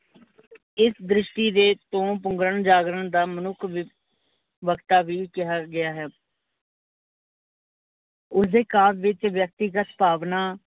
ਇਸ ਦ੍ਰਿਸ਼ਟੀ ਦੇ ਤੋਂ ਪੁੰਗਰਨ ਜਾਗਰਨ ਦਾ ਮਨੁੱਖ ਬਕਤਾ ਵੀ ਕਿਹਾ ਗਿਆ ਹੈ। ਉਸਦੇ ਕਾਵ ਵਿੱਚ ਵਿਅੱਕਤੀਗਤ ਭਾਵਨਾਂ